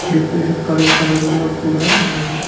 Decoration colour కలరుగా కూడా ఉన్నాది.